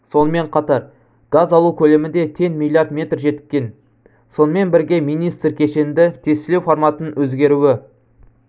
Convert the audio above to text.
сонымен қатар газ алу көлемі де тен миллиард метр жеткен сонымен бірге министр кешенді тестілеу форматының өзгеруі